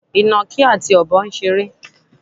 Ìnàkí àti Ọ̀bọ ń ṣeré.